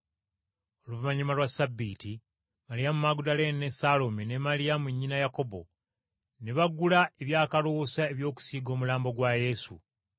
Oluvannyuma lwa Ssabbiiti, Maliyamu Magudaleene, ne Saalome ne Maliyamu nnyina Yakobo, ne bagula ebyakaloosa eby’okusiiga omulambo gwa Yesu.